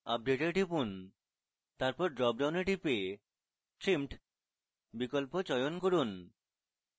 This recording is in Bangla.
update এ টিপুন তারপর drop ডাউনে টিপে trimmed বিকল্প চয়ন করুন